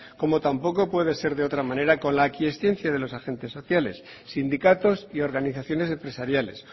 como tampoco puede ser de otra manera con la aquiescencia de los agentes sociales sindicatos y organizaciones empresariales